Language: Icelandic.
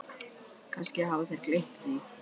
Kannski hafa þeir bara gleymt því.